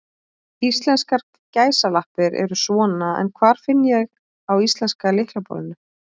Íslenskar gæsalappir eru svona, en hvar finn ég á íslenska lyklaborðinu?